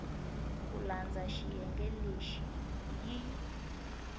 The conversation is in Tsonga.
ku landza xiyenge lexi yi